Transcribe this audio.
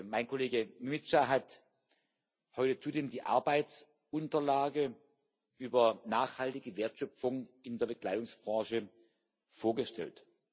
Mein Kollege Mimica hat heute zudem die Arbeitsunterlage über nachhaltige Wertschöpfung in der Bekleidungsbranche vorgestellt.